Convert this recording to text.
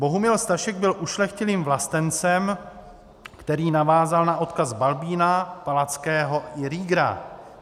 Bohumil Stašek byl ušlechtilým vlastencem, který navázal na odkaz Balbína, Palackého i Riegera.